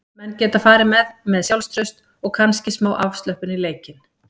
Menn geta farið með með sjálfstraust og kannski smá afslöppun í leikinn.